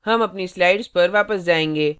अब हम अपनी slides पर वापस जायेंगे